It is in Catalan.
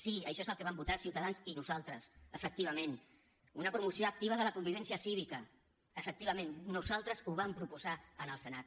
sí això és el que vam votar ciutadans i nosaltres efectivament una promoció activa de la convivència cívica efectivament nosaltres ho vam proposar al senat